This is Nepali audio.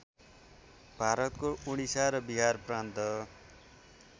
भारतको उडिसा र बिहारप्रान्त